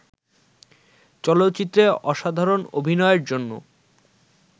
চলচ্চিত্রে অসাধারণ অভিনয়ের জন্য